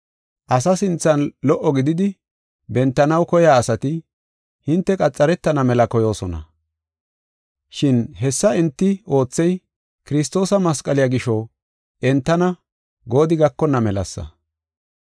Asa sinthan lo77o gididi bentanaw koyiya asati hinte qaxaretana mela koyoosona. Shin hessa enti oothey, Kiristoosa masqaliya gisho entana goodi gakonna melasa.